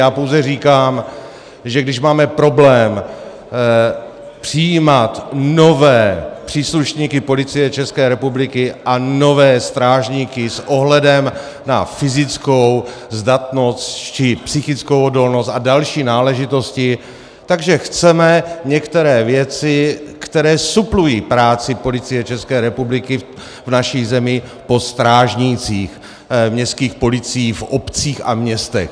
Já pouze říkám, že když máme problém přijímat nové příslušníky Policie České republiky a nové strážníky s ohledem na fyzickou zdatnost či psychickou odolnost a další náležitosti, tak chceme některé věci, které suplují práci Policie České republiky v naší zemi, po strážnících městských policiích v obcích a městech.